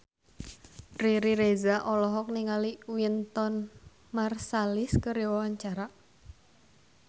Riri Reza olohok ningali Wynton Marsalis keur diwawancara